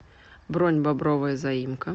бронь бобровая заимка